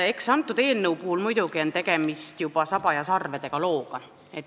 Eks antud eelnõu puhul ole muidugi tegemist juba saba ja sarvedega looga.